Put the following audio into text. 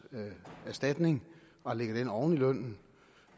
erstatning og lægger den oven i lønnen